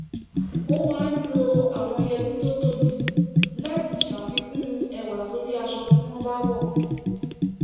ó máa ń lo àwọn yẹtí tó tóbi láti ṣàfikún ẹwà sórí aṣọ tí wọ́n bá wọ̀